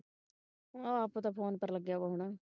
ਆ ਆਪਾਂ ਤੇ phone ਕਰਨ ਲਗੇ ਆਂ ਅਬ ਆਉਣਾ ਹੀ